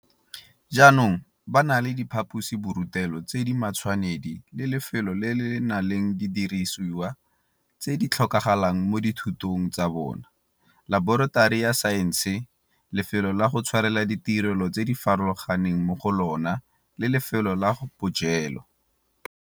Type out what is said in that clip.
Jaanong ba na le diphaposiborutelo tse di matshwanedi le lefelo le le nang le didirisiwa tse di tlhokagalang mo dithutong tsa bona, laboratori ya saense, lefelo la go tshwarela ditirelo tse di farologaneng mo go lona le lefelo la bojelo.